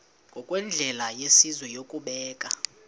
ngokwendlela yesizwe yokubeka